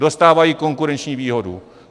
Dostávají konkurenční výhodu.